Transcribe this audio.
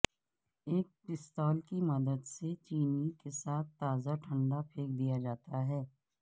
ایک پستول کی مدد سے چینی کے ساتھ تازہ ٹھنڈا پھینک دیا جاتا ہے